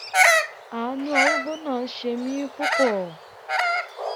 àánú arúgbó náà ṣe mí púpọ̀